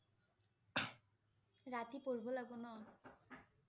ৰাতি পঢ়িব লাগিব ন